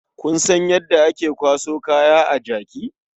Kun san yadda ake kwaso kaya a jaki?